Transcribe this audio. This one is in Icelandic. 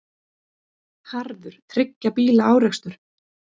Harður þriggja bíla árekstur